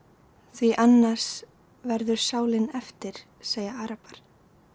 því annars verður sálin eftir segja arabar